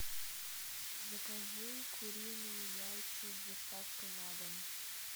закажи куриные яйца с доставкой на дом